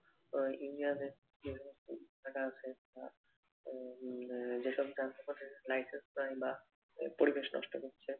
তো ইউনিয়নে যে সমস্ত ইট ভাটা আছে উম আহ যে সব যানবহনের licence নাই বা পরিবেশ নষ্ট করছে